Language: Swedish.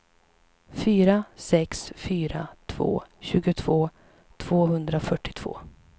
fyra sex fyra två tjugotvå tvåhundrafyrtiotvå